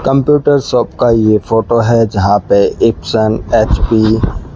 computer shop का ये photo है जहां पे एप्सन एच_पी --